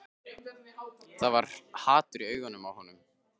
Það var hatur í augunum á honum.